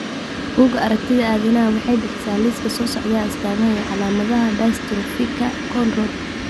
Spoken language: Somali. Bugaa aragtida aDdanaha waxay bixisaa liiska soo socda ee astamaha iyo calaamadaha dystrophyka Cone rod.